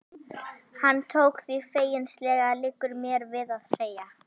Hann tók því feginsamlega, liggur mér við að segja.